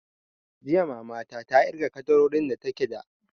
Jiya mama ta ta irga ƙaddarorin da take da